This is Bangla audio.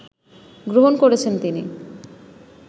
গ্রহণ করেছেন তিনি